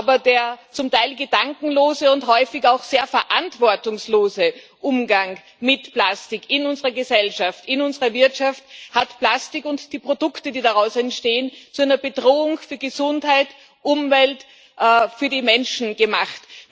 Aber der zum Teil gedankenlose und häufig auch sehr verantwortungslose Umgang mit Plastik in unserer Gesellschaft, in unserer Wirtschaft, hat Plastik und die Produkte, die daraus entstehen, zu einer Bedrohung für Gesundheit, Umwelt und Menschen gemacht.